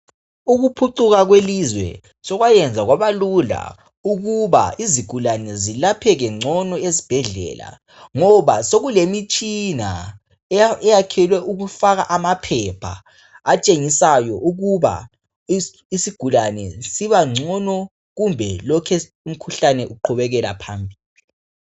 Ukuphucuka kwelizwe sokwayenza kwabalula ukuba izigulane zilapheke ngcono ezibhedlela. Ngoba sokulemitshina ayakhelwe ukufaka amaphepha atshengisayo ukuba isigulani sibangcono kumbe umkhuhlane lokhe uqhubukela phambili.